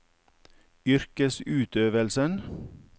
yrkesutøvelsen